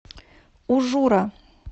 ужура